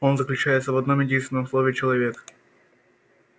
он заключается в одном-единственном слове человек